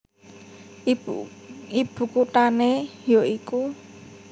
Ibu kuthané ya iku